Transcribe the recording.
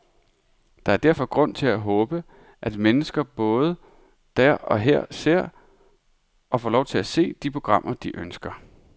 Der er derfor grund til at håbe, at mennesker både der og her ser, og får lov til at se, de tv-programmer, de ønsker.